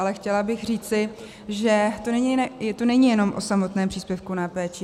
Ale chtěla bych říci, že to není jenom o samotném příspěvku na péči.